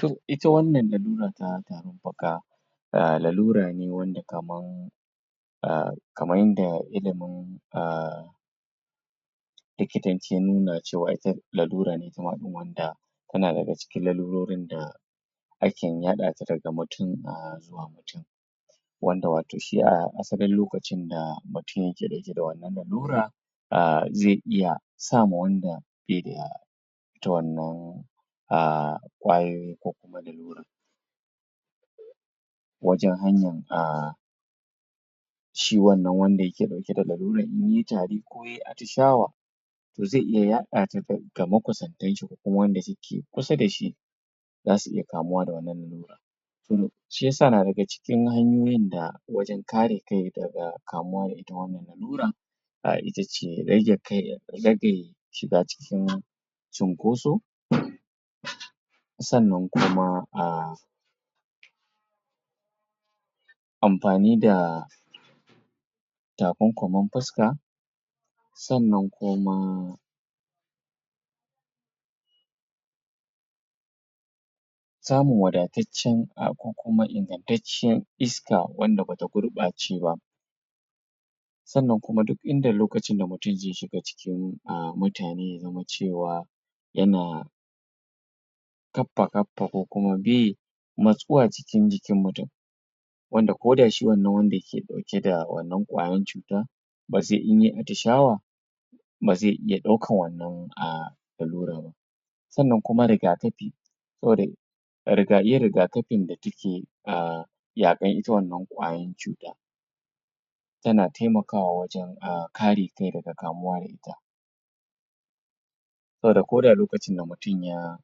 To Ita wannan lalura ta tarin faka Umm lalura ne wanda kaman Umm Kaman da illimin Umm Likitancin na Lalura ne itama din wanda Tana daga cikin lalurorin da Aken yaɗa ta daga mutum a Zuwa mutum Wanda shi a asalin lokacin da mutum yake ɗauke da wannan lalura Umm zai iya Sama wanda Baida Ita wannan Umm Kwayoyin ko kuma lalura Wajen hanyan um Shi wannan wanda yake ɗauke da lalurai inyayi tari ko kuma yayi atishawa To zai iya yaɗa ta Ga makusantan shi ko kuma wanda suke kusa dashi Zasu iya kamuwa da wannan lalura To Shi yasa ma daga cikin hanyoyin da, Wajen kare kai daga kamuwa da ita wannan lalura um itace rage kai rage Shiga cikin Cinkoso Sannan kuma umm.. Amfani da.. Takunkumin fuska Sannan kuma Samun wadataccen Ko kuma ingantacciyar Iska wanda bata gurɓace ba Sannan kuma duk inda lokacin da mutum zai shiga ciki um mutane ya zama cewa Yana Kaffa kaffa ko kuma bi Matsuwa Cikin jikin mutum Wanda koda shi wannan wanda yake dauke da wannan kwayen cutan Da sai inyai atishawa Bazai iya daukan wannan umm Lalura ba Sannan kuma riga kafi Riga yin riga kafin da take umm Yakan ita wannan kwayan cutan Tana taimaka wa wajen Kare kai daga kamuwa daga ita sboda koda lokacin da mutum ya..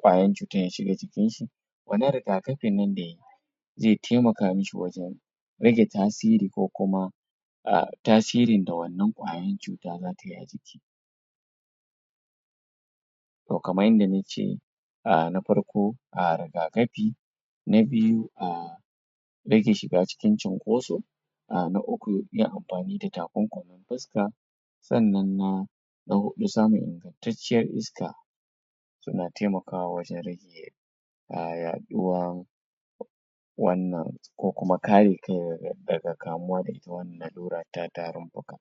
kwayan cutar ya shiga jikin shi Kamar riga kafin nan dai Zai taimaka mashi wajen Rage tasiri ko kuma umm tasirin da wannan kwayan cuta zatayi a jiki Toh kaman yanda nace umm na farko um riga kafi Na biyu umm Rage shiga cikin cinkoso um na uku yin amfani da takunkumin fuska Sannan na Na huɗu samun Tsaftacciyar iska Tana taimaka wa wajen rage Um yaɗuwan Wannan Ko kuma kare kai daga kamuwa da ita wannan lalura ta tarin faka